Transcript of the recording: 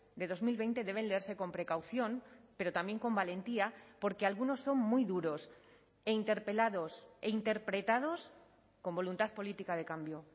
de dos mil veinte deben leerse con precaución pero también con valentía porque algunos son muy duros e interpelados e interpretados con voluntad política de cambio